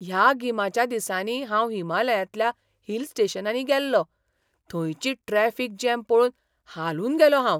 ह्या गिमाच्या दिसांनी हांव हिमालयांतल्या हिल स्टेशनांनी गेल्लो, थंयची ट्रॅफिक जॅम पळोवन हालून गेलों हांव!